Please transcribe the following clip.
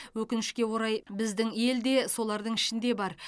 өкінішке орай біздің ел де солардың ішінде бар